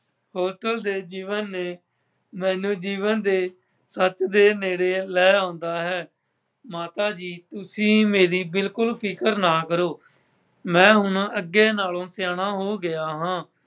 Hostel ਦੇ ਜੀਵਨ ਨੇ ਮੈਨੂੰ ਜੀਵਨ ਦੇ ਸੱਚ ਦੇ ਨੇੜੇ ਲੈ ਆਂਦਾ ਹੈ। ਮਾਤਾ ਜੀ ਤੁਸੀਂ ਮੇਰੀ ਬਿਲਕੁੱਲ ਫਿਕਰ ਨਾ ਕਰੋ। ਮੈਂ ਹੁਣ ਅੱਗੇ ਨਾਲੋਂ ਸਿਆਣਾ ਹੋ ਗਿਆ ਹਾਂ।